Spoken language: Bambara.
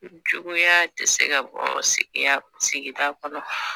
Juguya ti se ka bɔ sigiya sigida kɔnɔ